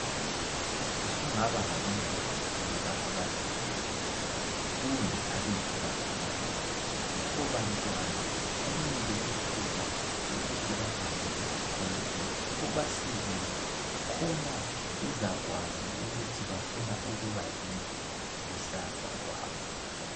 Usungaba labantwana loba abathathu kumbe abedlula khonapho. Labo bantwana banike ithuba lokuthi bahambe esikolweni ubasekele khona bezakwazi ukuthi bafuna ukuba yini kusasa kwabo.